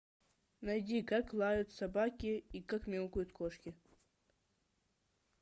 найди как лают собаки и как мяукают кошки